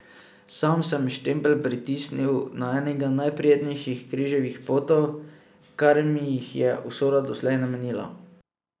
Sam sem štempelj pritisnil na enega najprijetnejših križevih potov, kar mi jih je usoda doslej namenila.